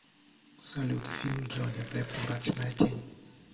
салют фильм джонни депп мрачная тень